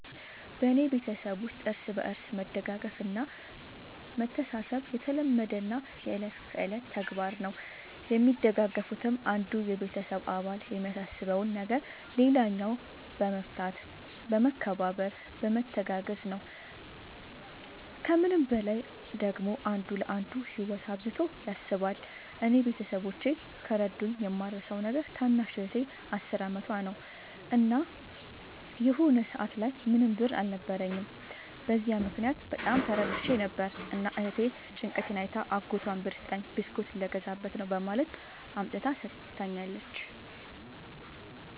በኔ ቤተሠብ ውስጥ እርስ በርስ መደጋገፍ እና መተሣሠብ የተለመደና የእለት ከእለት ተግባር ነው። የሚደጋገፉትም አንዱ የቤተሰብ አባል የሚያሳስበውን ነገር ሌላኛው በመፍታት በመከባበር በመተጋገዝ ነው። ከምንም በላይ ደግሞ አንዱ ለአንዱ ህይወት አብዝቶ ያስባል። እኔ ቤተሠቦቼ ከረዱኝ የማረሣው ነገር ታናሽ እህቴ አስር አመቷ ነው። እና የሆነ ሰአት ላይ ምንም ብር አልነበረኝም። በዚያ ምክንያት በጣም ተረብሼ ነበር። እና እህቴ ጭንቀቴን አይታ አጎቷን ብር ስጠኝ ብስኩት ልገዛበት ነው በማለት አምጥታ ሠጥታኛለች።